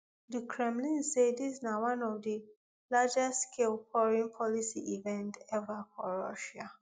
di kremlin say dis na one of di largestscale foreign policy events ever for russia